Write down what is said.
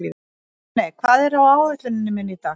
Máney, hvað er á áætluninni minni í dag?